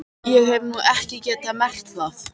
Ég hef nú ekki getað merkt það.